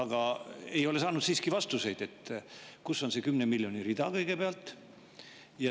Kuid me ei ole siiski saanud vastust, kus on kõigepealt see 10 miljoni rida.